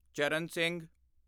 Charan Singh